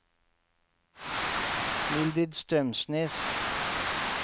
Mildrid Strømsnes